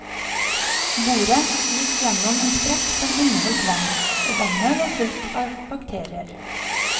Boret gikk gjennom en sprekk som inneholdt vann, og vannet var fullt av bakterier.